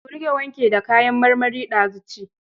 Ku riƙa wanke du kayan marmarin da zu ci.